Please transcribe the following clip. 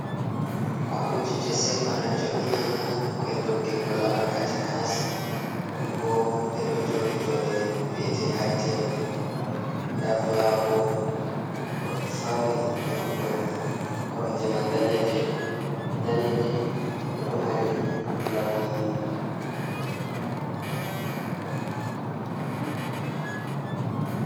Koromje je sei bana jo’inaama ha nokku’el doggingo lamarka takanas. Ɗum boo ɗe ɗo jodi jonde vi’ete hai teble nda flawa bo ɗo fauni nokkure man. Koromje man daneje e ɗo mari launi.